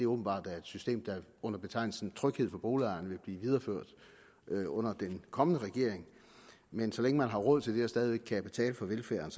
åbenbart er et system der under betegnelsen tryghed for boligejerne vil blive videreført under den kommende regering men så længe man har råd til det og stadig væk kan betale for velfærden